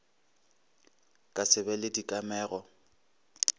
ka se be le dikamego